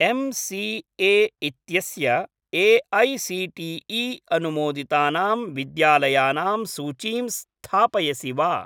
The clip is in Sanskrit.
एम्.सी.ए. इत्यस्य ए.ऐ.सी.टी.ई. अनुमोदितानां विद्यालयानां सूचीं स्थापयसि वा?